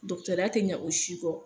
ya tɛ ɲɛ o si kɔ.